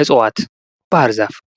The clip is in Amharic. እፅዋት